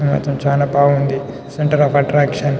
చాలా బాగుంది. Centre of attraction .